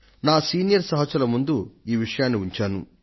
నా సీనియర్ సహచరుల ముందు ఈ విషయాన్ని ఉంచాను